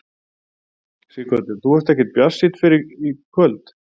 Sighvatur: Þú varst ekkert bjartsýnn fyrr í kvöld?